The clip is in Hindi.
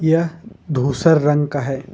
यह धूसर रंग का है।